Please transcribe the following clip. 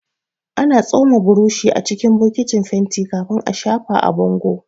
Ana tsoma burushi acikin bokitin fenti kafin a shafa a bango